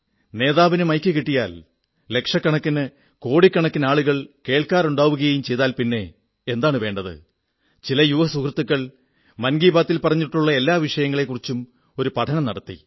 നേതാവിന് മൈക്ക് കിട്ടിയാൽ ലക്ഷക്കണക്കിന് കോടിക്കണക്കിന് ആളുകൾ കേൾക്കാനുണ്ടാവുകയും ചെയ്താൽ പിന്നെ എന്താണു വേണ്ടത് ചില യുവ സുഹൃത്തുക്കൾ മൻ കീ ബാതിൽ പറഞ്ഞിട്ടുള്ള എല്ലാ വഷിയങ്ങളെക്കുറിച്ചും ഒരു പഠനം നടത്തി